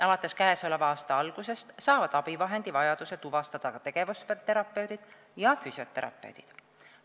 Alates käesoleva aasta algusest saavad abivahendivajaduse tuvastada ka tegevusterapeudid ja füsioterapeudid.